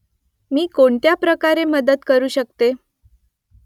मी कोणत्या प्रकारे मदत करू शकते ?